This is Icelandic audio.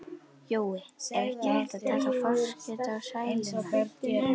Jói, er ekki hægt að taka forskot á sæluna?